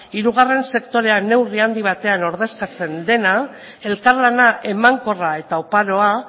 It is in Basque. hirugarren sektorean neurri handi batean ordezkatzen dena elkarlana emankorra eta oparoa